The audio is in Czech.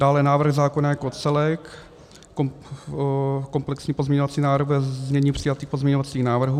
Dále návrh zákona jako celek, komplexní pozměňovací návrh ve znění přijatých pozměňovacích návrhů.